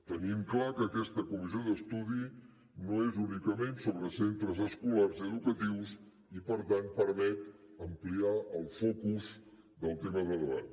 tenim clar que aquesta comissió d’estudi no és únicament sobre centres escolars i educatius i per tant permet ampliar el focus del tema de debat